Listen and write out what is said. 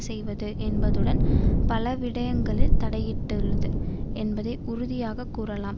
செய்வது என்பதுடன் பலவிடயங்களில் தலையிட்டுள்ளது என்பதை உறுதியாக கூறலாம்